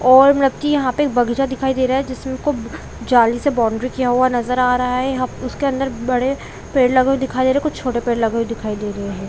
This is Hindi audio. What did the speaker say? और मतलब की यहाँ पे एक बगीचा दिखाई दे रहा है जिसको जाली से बाउंड्री किया हुआ नजर आ रहा है यहाँ पे उसके अंदर बड़े पेड़ लगे हुए दिखाई दे रहे है कुछ छोटे पेड़ लगे हुए दिखाई दे रहे है।